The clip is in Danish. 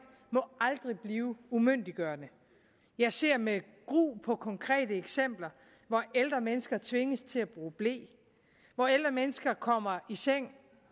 må aldrig blive umyndiggørende jeg ser med gru på konkrete eksempler hvor ældre mennesker tvinges til at bruge ble hvor ældre mennesker kommer i seng